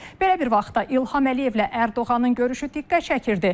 Belə bir vaxtda İlham Əliyevlə Ərdoğanın görüşü diqqət çəkirdi.